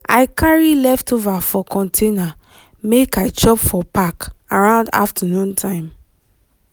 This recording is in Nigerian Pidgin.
i carry leftover for container make i chop for park around afternoon time.